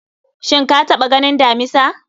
shin ka taɓa ganin damisa?